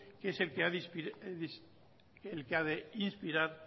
que es el que ha de inspirar